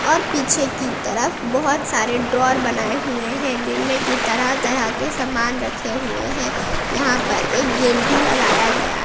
और पीछे की तरफ बहुत सारे ड्रॉअर बनाए हुए हैं जिनमें की तरह तरह के सामान रखे हुए हैं यहां पर एक गेट भी लगाया गया--